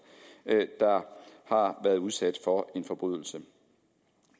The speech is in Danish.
der har været udsat for en forbrydelse